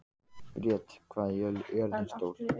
Briet, hvað er jörðin stór?